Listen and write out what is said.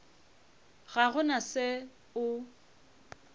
ga go na se o